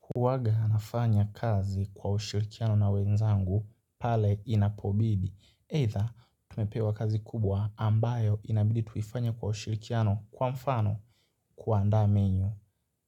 Huwaga nafanya kazi kwa ushirikiano na wenzangu pale inapobidi. Eitha, tumepewa kazi kubwa ambayo inabidi tuifanye kwa ushirikiano kwa mfano kuandaa menyu.